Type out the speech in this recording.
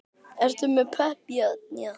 Eruð þið pepp í þetta?